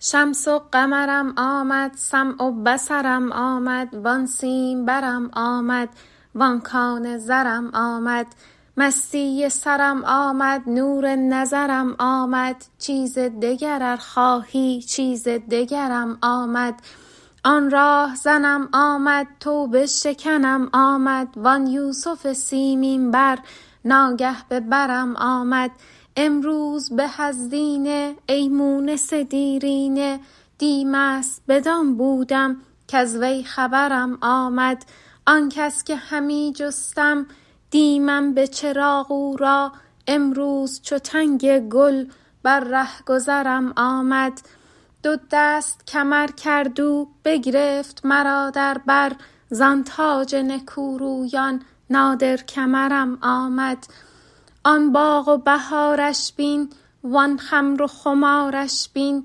شمس و قمرم آمد سمع و بصرم آمد وان سیمبرم آمد وان کان زرم آمد مستی سرم آمد نور نظرم آمد چیز دگر ار خواهی چیز دگرم آمد آن راه زنم آمد توبه شکنم آمد وان یوسف سیمین بر ناگه به برم آمد امروز به از دینه ای مونس دیرینه دی مست بدان بودم کز وی خبرم آمد آن کس که همی جستم دی من به چراغ او را امروز چو تنگ گل بر ره گذرم آمد دو دست کمر کرد او بگرفت مرا در بر زان تاج نکورویان نادر کمرم آمد آن باغ و بهارش بین وان خمر و خمارش بین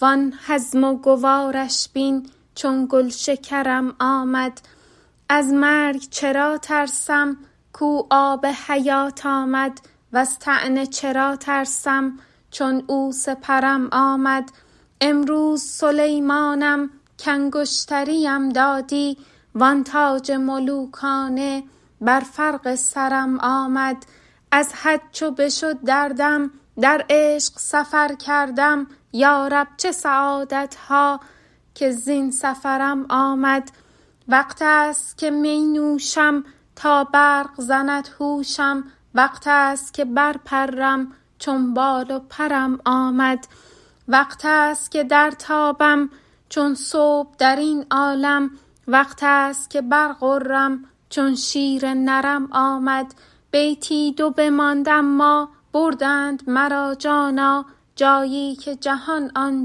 وان هضم و گوارش بین چون گلشکرم آمد از مرگ چرا ترسم کو آب حیات آمد وز طعنه چرا ترسم چون او سپرم آمد امروز سلیمانم کانگشتریم دادی وان تاج ملوکانه بر فرق سرم آمد از حد چو بشد دردم در عشق سفر کردم یا رب چه سعادت ها که زین سفرم آمد وقتست که می نوشم تا برق زند هوشم وقتست که برپرم چون بال و پرم آمد وقتست که درتابم چون صبح در این عالم وقتست که برغرم چون شیر نرم آمد بیتی دو بماند اما بردند مرا جانا جایی که جهان آن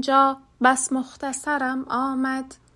جا بس مختصرم آمد